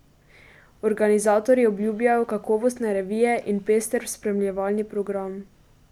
Organizatorji obljubljajo kakovostne revije in pester spremljevalni program.